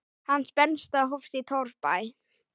Hans bernska hófst í torfbæ.